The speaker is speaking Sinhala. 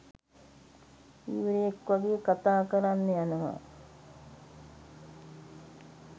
වීරයෙක් වගේ කතා කරන්න යනවා